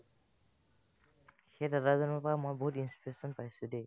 সেই দাদাজনৰ পৰা মই বহুত inspiration পাইছো দে